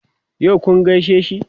Yau kun gaishe shi?